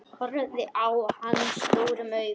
Horfði á hana stórum augum.